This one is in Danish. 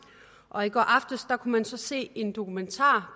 og i går aftes kunne man så se en dokumentar